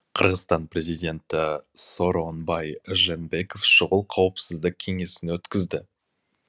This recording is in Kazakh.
қырғызстан президенті сооронбай жээнбеков шұғыл қауіпсіздік кеңесін өткізді